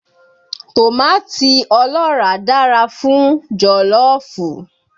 Tòmátì ọlọ́ràá dára fún jọ̀lọ́fù